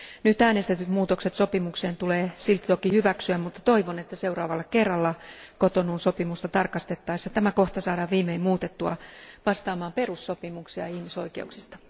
Nyt äänestetyt muutokset sopimukseen tulee silti toki hyväksyä, mutta toivon, että seuraavalla kerralla Cotonoun sopimusta tarkastettaessa tämä kohta saadaan viimein muutettua vastaamaan perussopimuksia ihmisoikeuksista.